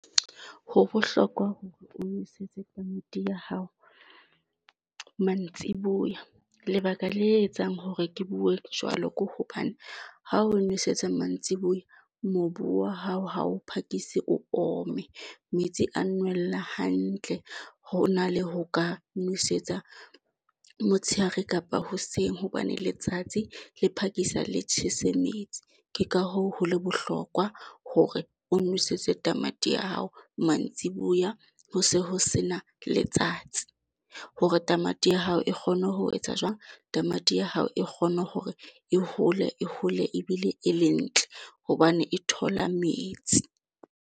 Ho bohlokwa hore o nosetse tamati ya hao mantsiboya. Lebaka le etsang hore ke bue jwalo, ke hobane ha o nosetsa mantsiboya mobu wa hao ha o phakise o ome metsi a nwella hantle, hona le ho ka nosetsa motsheare kapa hoseng hobane letsatsi le phakisa le tjhese metsi. Ke ka hoo ho le bohlokwa hore o nwesetse tamati ya hao mantsiboya. Ho se ho sena letsatsi hore tamati ya hao e kgone ho etsa jwang? Tamati ya hao e kgone hore e hole e hole ebile e le ntle hobane e thola metsi.